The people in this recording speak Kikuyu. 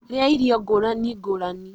Rĩa irio ngũrani ngũrani